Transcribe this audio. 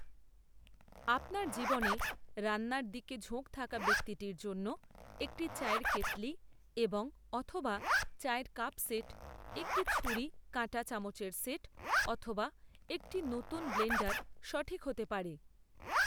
আপনার জীবনে রান্নার দিকে ঝোঁক থাকা ব্যক্তিটির জন্য একটি চায়ের কেটলি এবং অথবা চায়ের কাপ সেট, একটি ছুরি কাঁটা চামচের সেট অথবা একটি নতুন ব্লেণ্ডার সঠিক হতে পারে।